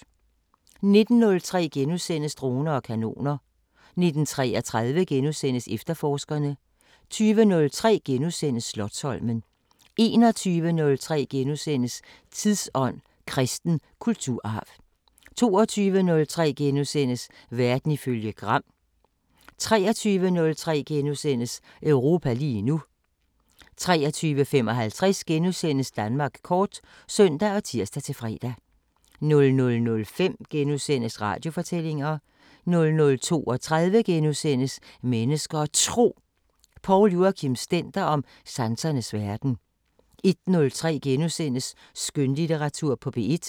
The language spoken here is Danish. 19:03: Droner og kanoner * 19:33: Efterforskerne * 20:03: Slotsholmen * 21:03: Tidsånd: Kristen kulturarv * 22:03: Verden ifølge Gram * 23:03: Europa lige nu * 23:55: Danmark kort *(søn og tir-fre) 00:05: Radiofortællinger * 00:32: Mennesker og Tro: Poul Joachim Stender om sansernes verden * 01:03: Skønlitteratur på P1 *